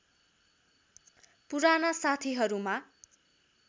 पुराना साथीहरूमा